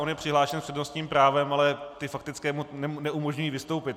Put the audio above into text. On je přihlášen s přednostním právem, ale ty faktické mu neumožňují vystoupit.